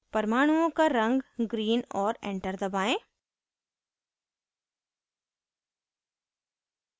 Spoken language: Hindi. परमाणुओं का रंग green और enter दबाएं